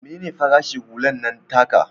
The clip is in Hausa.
Mene ne farashin hular nan taka?